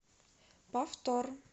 повтор